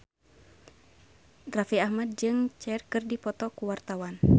Raffi Ahmad jeung Cher keur dipoto ku wartawan